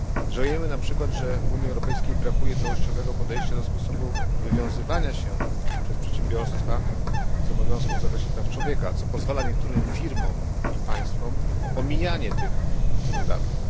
Żałujemy na przykład, że w Unii Europejskiej brakuje całościowego podejścia do sposobu wywiązywania się przez przedsiębiorstwa z obowiązków w zakresie praw człowieka, co pozwala niektórym firmom i państwom na omijanie tych standardów.